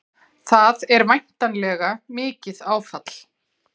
Það er væntanlega mikið áfall?